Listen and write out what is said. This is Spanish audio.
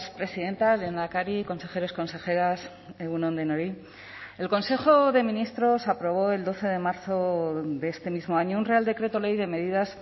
presidenta lehendakari consejeros consejeras egun on denoi el consejo de ministros aprobó el doce de marzo de este mismo año un real decreto ley de medidas